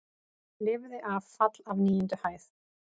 Lifði af fall af níundu hæð